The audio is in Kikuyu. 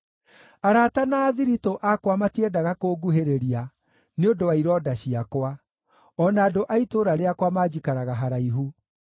Arata na athiritũ akwa matiendaga kũnguhĩrĩria nĩ ũndũ wa ironda ciakwa; o na andũ a itũũra rĩakwa manjikaraga haraihu.